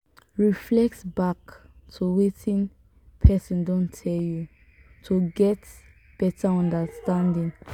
reflect back to wetin person don tell you to get better understanding